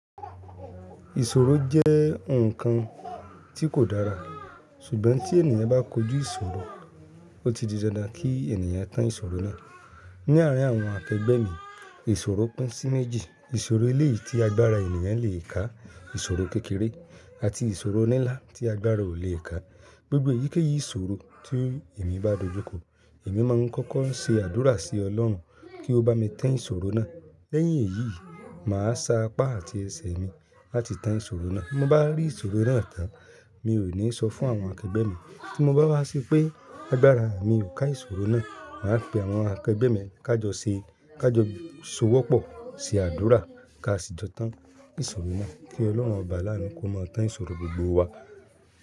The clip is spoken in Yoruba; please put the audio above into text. Ìṣòro jẹ́ ǹkan tí kò dára, ṣùgbọ́n tí ènìyàn bá kojú ìṣòro, ó ti di dandan kí ènìyàn tàn ìṣòro náà. Ni àárín àwọn akẹgbẹ́ mi, ìṣòro pín sí méjì. Ìṣòro eléyìí tí agbára ènìyàn lè kà, ìṣòro kékeré àti ìṣòro nínlá tí agbára ò lè kà. Gbogbo eyíkéyìí ìṣòro tí èmi bá dojúkọ, èmi máa ń kọ́kọ́ ṣe àdúrà sí Ọlọ́run kí ó bá mi tàn ìṣòro náà. Lẹ́yìn èyí, màá sa apá àti ẹsẹ̀ mi láti tàn ìṣòro náà. Bí mo bá rí ìṣòro mìíràn tán, mi ò ní sọ fún àwọn akẹgbẹ́ mi. Tí mo bá rí pé agbára mi ò ká ìṣòro náà, mà á pe àwọn akẹgbẹ́ mi kí a jọ sowọ́pọ̀ ṣe àdúrà ká sì jọ tàn ìṣòro náà. Kí Ọlọ́run Ọba àwọn alánìkún máa tàn ìṣòro gbogbo wa.